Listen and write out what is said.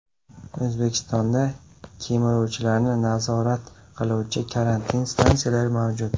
O‘zbekistonda kemiruvchilarni nazorat qiluvchi karantin stansiyalari mavjud.